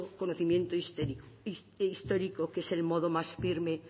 conocimiento histórico que es el modo más firme